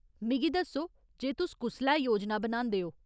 मिगी दस्सो जे तुस कुसलै योजना बनांदे ओ।